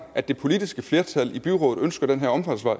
at det politiske flertal i byrådet ønsker den her omfartsvej